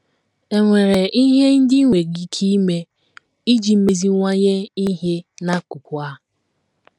È nwere ihe ndị i nwere ike ime iji meziwanye ihe n’akụkụ a?